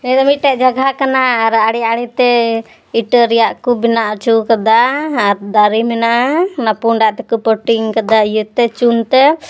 ᱱᱤᱭᱟᱹ ᱫᱚ ᱢᱤᱫᱴᱮᱡ ᱠᱟᱜᱦᱟ ᱠᱟᱱᱟ ᱟᱨ ᱟᱰᱤ ᱟᱰᱤ ᱛᱮ ᱤᱴᱟᱹ ᱨᱮᱭᱟᱜ ᱠᱩᱴ ᱵᱮᱱᱟᱣ ᱟᱪᱩᱣ ᱠᱟᱫᱟ ᱟᱨ ᱫᱟᱨᱤ ᱢᱮᱱᱟᱜ-ᱟ ᱚᱱᱟ ᱯᱩᱸᱰᱟᱜ ᱛᱮ ᱠᱩ ᱯᱳᱴᱤᱸᱜ ᱟᱠᱟᱫᱟ ᱤᱭᱟᱹ ᱛᱮ ᱪᱩᱱ ᱛᱮ᱾